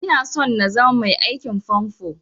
Ina so na zama mai aikin famfo